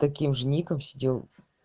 таким же ником сидел